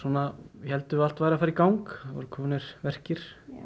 héldum við að allt væri að fara í gang það voru komnir verkir